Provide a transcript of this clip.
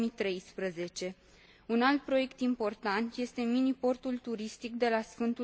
2013. Un alt proiect important este mini portul turistic de la Sf.